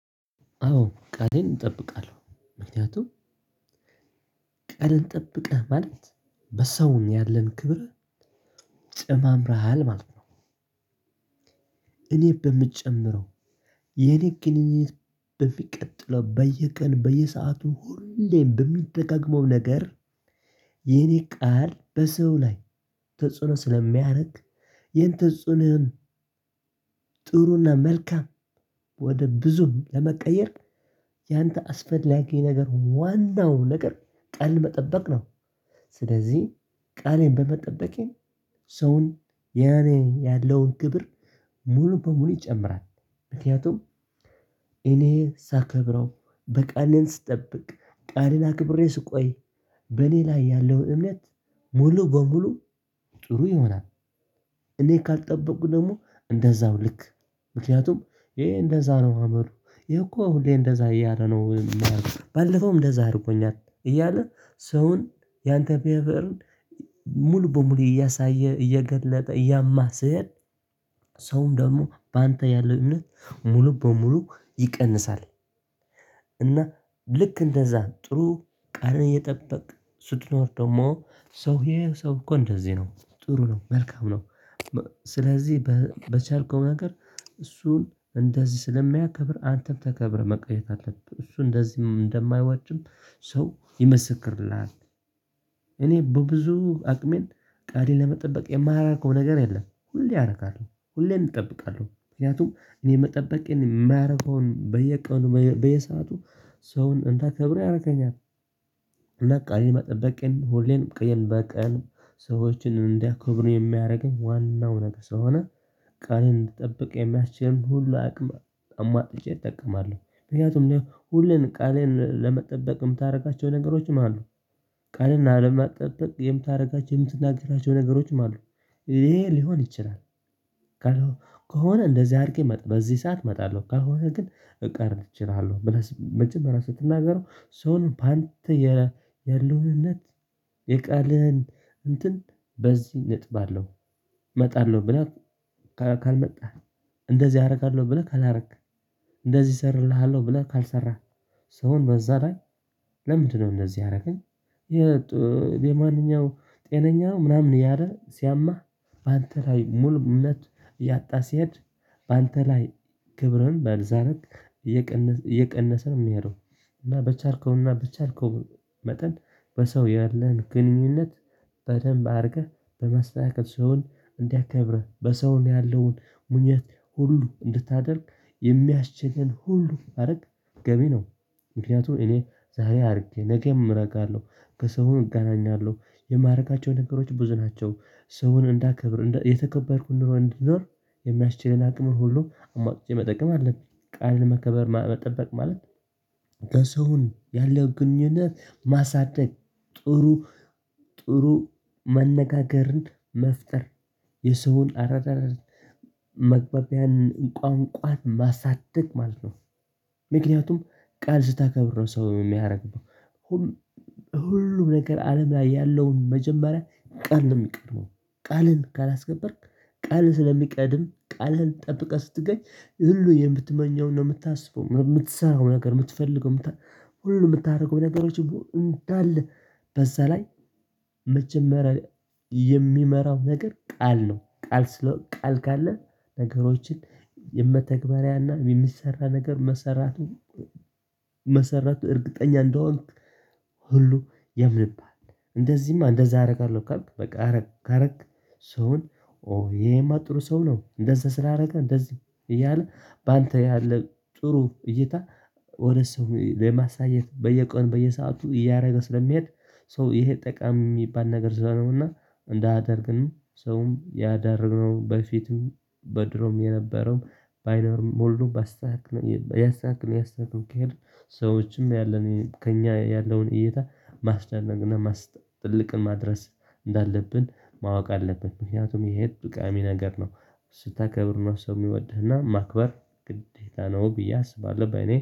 አዎ ቃሌን እጠብቃለሁ ምክንያቱም ቃልን ጠብቀህ ማለት በሰውን ያለን ክብር ጨማምረሃል ማለት ነው። እኔ በምጨምረው የኔ ግንኙነት በሚቀጥለው በየቀን በየሰአቱ ሁሌም በሚደጋገመው ነገር የኔ ቃል በሰው ላይ ተጽዕኖ ስለሚያደርግ። ጥሩና መልካም ወደ ብዙም ለመቀየር ያንተ አስፈላጊ የነገር ዋናው ነገር ቃል መጠበቅ ነው። ስለዚህ ቃሌን በመጠበቄ ሰውን ያኔ ያለውን ግብር ሙሉ በሙሉ ይጨምራል። ምክንያቱም እኔ ሳከብረው በቃሌ ስጠብቅ ቃሌን አክብሬ ስቆይ በኔ ላይ ያለው እምነት ሙሉ በሙሉ ጥሩ ይሆናል። እኔ ካልጠበቁ ደግሞ እንደዛው ልክ ምክንያቱም ይሄ እንደዛ ነው አመሉ ይሄ እኮ ሁሌ እንደዛ እያለ ነው። ባለፈውም እንደዛ አድርጎኛል እያለ ሰውን ያንተ ቢሄቨርን ሙሉ በሙሉ እያሳየ እየገለጠ እያማ ስሄድ ሰውም ደግሞ በአንተ ያለው እምነት ሙሉ በሙሉ ይቀንሳል። እና ልክ እንደዛ ጥሩ ቀረ እየጠበቅክ ስትኖር ደግሞ ሰው እሄ ሰው እኮ እንደዚህ ነው ጥሩ ነው መልካም ነው። ስለዚህ በቻልከው ነገር እሱን እንደዚህ ስለሚያከብር አንተም ተከብረህ መቆየት አለብህ እሱ እንደዚህ እንደማያዋጅም ሰው ይመሰክርልሃል። እኔ በብዙ አቅሜን ቃሌን ለመጠበቅ የማራረገው ነገር የለም ሁሌ አረካለሁ ሁሌም እጠብቃለሁ ምክንያቱም እኔ መጠበቄን የማያደርገውን በየቀኑ በየሰአቱ ሰውን እንዳከብረው ያደርገኛል። ቃሌን መጠበቀን ሁሌም ቀን በቀን ሰዎችን እንዲያከብሩኝ ሚያደርገኝ ዋናው ነገር ስለሆነ። ቃሌን እንድትጠብቅ የሚያስችል ሁሉ አቅም አሙዋጥቼ እጠቀማለሁ ምክንያቱም ሁሉን ቃሌን ለመጠበቅ የምታደርጋቸው ነገሮች ማለትነው። ቃሌን አለማጠበቅ የምታደርጋቸውን የምትናገራቸው ነገሮችም አሉ ይሄ ሊሆን ይችላል። ከሆነ እንደዚህ አድርጌ በዚህ ሰዓት መጣለሁ ካልሆነ ግን እቀር እችላለሁ። መጀመሪያ ስትናገረው ሰውን በአንተ ያለው እምነት የቃልህን እንትን በዚህ እንጥባለሁ። መጣለሁ ብለህ ካልመጣህ። እንደዚህ አደርጋለሁ ብለህ ካላረክ። እንደዚህ እሰራለሁ ብለህ ካልሰራህ። ሰውን በዛ ላይ ለምንድነው እነዚህ ያርገኝ? የ የማንኛው ጤነኛ ምናምን እያለ ሲያማህ አንተ ላይ ሙሉ እምነት ያጣ ሲሄድ አንተ ላይ ክብርን ባልዛረቅ። እየቀነሰ ነው ሚሄደው። እና በቻልከውና በቻልከው መጠን በሰው ያለህን ግንኙነት በደንብ አድርገህ በማስተካከል ስሆን እንዲያከብርህ በሰው ያለውን ምኞት ሁሉ እንድታደርግ የሚያስችልን ሁሉ ማድረግ ገቢ ነው። ምክንያቱም እኔ ዛሬ አድርጌ ነገም አደርጋለሁ ከሰው እገናኛለሁ የማረጋቸው ነገሮች ብዙ ናቸው። ሰውን እንዳከብር የተከበርኩ ኑሮ እንዲኖር የሚያስችለን አቅም ሁሉ አሟጥቼ መጠቀም አለብኝ። ቃል መከበር መጠበቅ ማለት። ከሰውን ያለው ግንኙነት ማሳደግ። ጥሩ ጥሩ መነጋገርን መፍጠር የሰውን አረዳድ መግበቢያን ቋንቋን ማሳደግ ማለት ነው። ምክንያቱም ቃል ስታከብር ነው ሰው የሚያደርገው ሁሉ። ሁሉም ነገር አለም ላይ ያለውን መጀመሪያ ቃል ነው ሚቀድመው። ቃልን ካላስከበርክ ቃል ስለሚቀድም ቃልህን ጠብቀህ ስትገኝ ሁሉ የምትመኘውን ነው የምታስበው የምትሰራው ነገር የምትፈልገው ሁሉ ምታደርገው ነገሮች እንዳለ። በዛ ላይ መጀመሪያ የሚመራው ነገር ቃል ነው ቃል ቃል ካለ ነገሮችን የመተግበሪያና የሚሰራ ነገር መሰራቱ መሰራቱ እርግጠኛ እንደሆንክ ሁሉ ያምንብሃል። እንደዚህማ እንደዛ አደርጋለሁ ካልክ በቃ አረክ ካረክ ሰውን ይሄማ ጥሩ ሰው ነው እንደዛ ስላረገ እንደዚህ እያለ በአንተ ያለ ጥሩ እይታ። ወደ ሰው ለማሳየት በየቀን በየሰአቱ እያደረገ ስለሚሄድ። ሰው ይሄ ጠቃሚ ሚባል ነገር ዝለለውና እንዳያደርግም ሰውም ያዳርግነው በፊትም በድሮም የነበረው ባይኖርም ሁሉም ባስተካክለው ያስተካክለው ያሰሩ ከሄድን ሰዎችም ያለን ከእኛ ያለውን እይታ ማስደነቅ። ትልቅም ማድረስ እንዳለብን ማወቅ አለብን። ምክንያቱም ይሄ ጠቃሚ ነገር ነው። ስታከብር ነው ሰው የሚወድህና ማክበር ግዴታ ነው ብዬ አስባለሁ። በእኔ